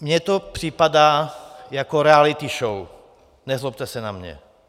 Mně to připadá jako reality show, nezlobte se na mě.